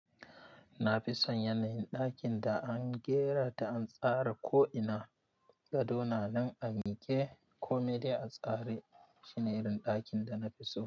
Na fi son yanayin ɗakin da an gera ta an tsara ko'ina, gado na nan a miƙe ko mai dai a tsare. Shi ne irin ɗakin da na fi so.